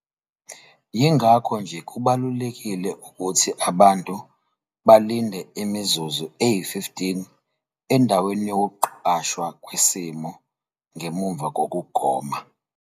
Yingakho nje kubalulekile ukuthi abantu balinde imizuzu eyi-15 endaweni yokuqashwa kwesimo ngemuva kokugoma.